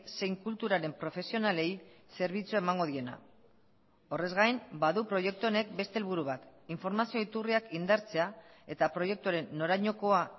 zein kulturaren profesionalei zerbitzua emango diena horrez gain badu proiektu honek beste helburu bat informazio iturriak indartzea eta proiektuaren norainokoa